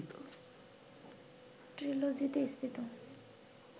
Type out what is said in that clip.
‘ট্রিলজি’তে স্থিত